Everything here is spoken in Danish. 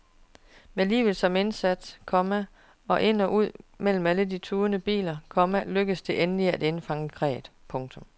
Med livet som indsats, komma og ind og ud mellem de tudende biler, komma lykkedes det endelig at indfange kræet. punktum